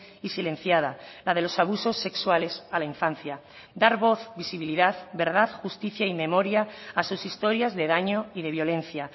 y silenciada la de los abusos sexuales a la infancia dar voz visibilidad verdad justicia y memoria a sus historias de daño y de violencia